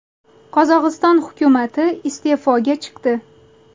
Qozog‘iston hukumati iste’foga chiqdi.